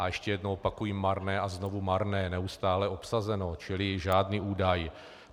A ještě jednou opakuji - marné a znovu marné, neustále obsazeno, čili žádný údaj.